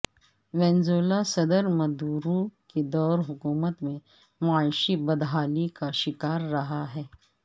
Venezuela صدر Maduro کے دور حکومت میں معاشی بدحالی کا شکار رہا ہے